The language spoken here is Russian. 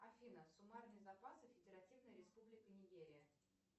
афина суммарные запасы федеративная республика нигерия